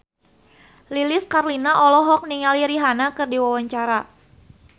Lilis Karlina olohok ningali Rihanna keur diwawancara